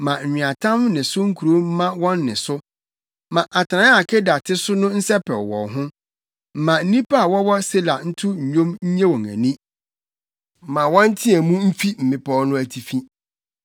Ma nweatam ne so nkurow mma wɔn nne so; ma atenae a Kedar te so no nsɛpɛw wɔn ho. Ma nnipa a wɔwɔ Sela nto nnwom nnye wɔn ani; ma wɔnteɛ mu mfi mmepɔw no atifi!